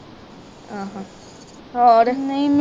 ਆਹੋ ਹੋਰ